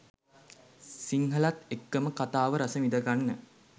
සිංහලත් එක්කම කතාව රසවිඳගන්න